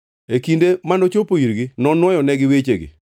E kinde manochopo irgi, nonuoyonegi wechegi.